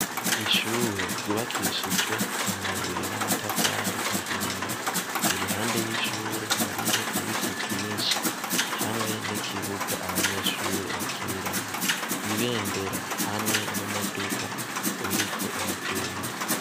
Ishure ryubakishijwe amabuye n' amatafari ahiye. Iruhande y' ishure hariho ibiti vyinshi hamwe n' ikibuga abanyeshure bakiniramwo. Ibendera hamwe n' umuduga uriko uragenda